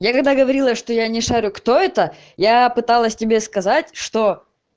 я когда говорила что я не шарю кто это я пыталась тебе сказать что